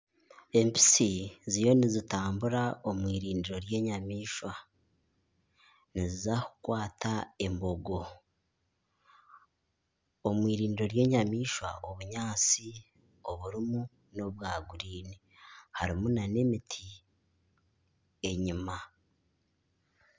Empitsi ziriyo nizitambura omwirindiro ry'enyamaishwa niziza kukwata embogo omwirindiro ry'enyamaishwa obunyaatsi oburimu n'obwa guriini harimu na n'emiti enyuma.